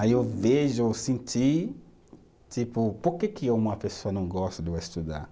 Aí eu vejo, eu senti, tipo, por que que uma pessoa não gosta de estudar?